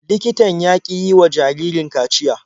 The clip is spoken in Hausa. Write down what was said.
Likitan ya ƙi yiwa jaririn kaciya.